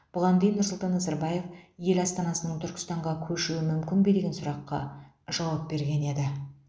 бұған дейін нұрсұлтан назарбаев ел астанасының түркістанға көшуі мүмкін бе деген сұраққа жауап берген еді